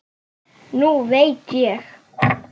Nú veit ég.